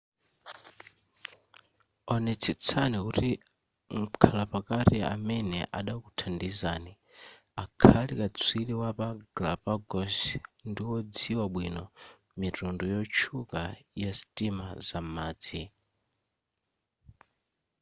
onetsetsani kuti mkhala pakati amene adakuthandizani akhale katswiri wapa galapagos ndiwodziwa bwino mitundu yochuluka ya sitima zam'madzi